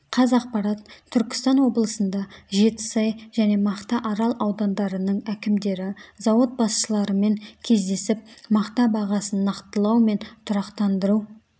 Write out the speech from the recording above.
қазақпарат түркістан облысында жетісай және мақтаарал аудандарының әкімдері зауыт басшыларымен кездесіп мақта бағасын нақтылау мен тұрақтандыру